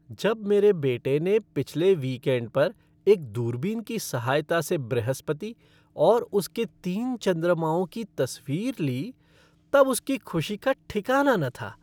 जब मेरे बेटे ने पिछले वीकएंड पर एक दूरबीन की सहायता से बृहस्पति और उसके तीन चंद्रमाओं की तस्वीर ली तब उसकी खुशी का ठिकाना न था।